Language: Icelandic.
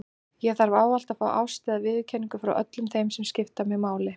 Ég þarf ávallt að fá ást eða viðurkenningu frá öllum þeim sem skipta mig máli.